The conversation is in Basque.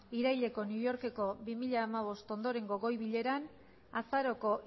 iraileko new yorkeko bi mila hamabost ondorengo goi bileran azaroko